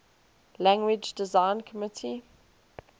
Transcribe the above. language design committee